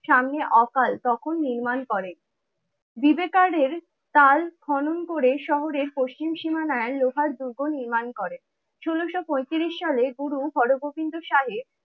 সামনে অকাল তখন নির্মাণ করেন। বিবেকার্ডের তাল খনন করে শহরের পশ্চিম সীমানায় লোহার দুর্গ নির্মাণ করে। ষোলোশো পঁয়ত্রিশ সালে গুরু হরগোবিন্দ সাহেব